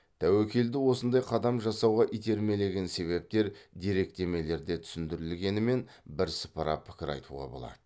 тәуекелді осындай қадам жасауға итермелеген себептер деректемелерде түсіндірілгенімен бірсыпыра пікір айтуға болады